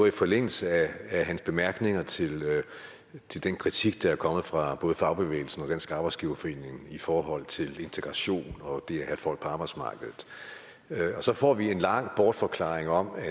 i forlængelse af hans bemærkninger til til den kritik der er kommet fra både fagbevægelsen og dansk arbejdsgiverforening i forhold til integration og det at have folk på arbejdsmarkedet og så får vi en lang bortforklaring om at